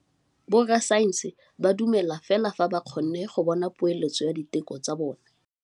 Borra saense ba dumela fela fa ba kgonne go bona poeletsô ya diteko tsa bone.